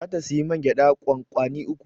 Za ta siyi mai gwada kwankwani uku